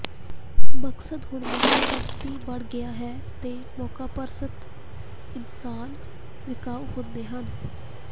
ਮਕਸਦ ਹੁਣ ਮੌਕਾਪ੍ਰਸਤੀ ਬਣ ਗਿਆ ਹੈ ਤੇ ਮੌਕਾਪ੍ਰਸਤ ਇਨਸਾਨ ਵਿਕਾਊ ਹੁੰਦੇ ਹਨ